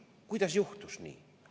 Kuidas juhtus nii?